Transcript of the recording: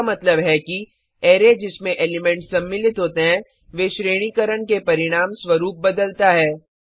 इसका मतलब है कि अरै जिसमें एलिमेंट्स सम्मिलित होते हैं वे श्रेणीकरण के परिणाम स्वरूप बदलता है